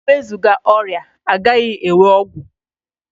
E wezụga ọrịa, a gaghị enwe ọgwụ